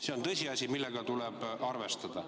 See on tõsiasi, millega tuleb arvestada.